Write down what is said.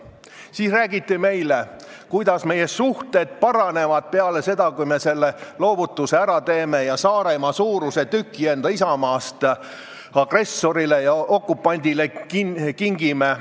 Siis räägiti meile, kuidas meie suhted paranevad peale seda, kui me selle loovutuse ära teeme ja Saaremaa-suuruse tüki oma isamaast agressorile ja okupandile kingime.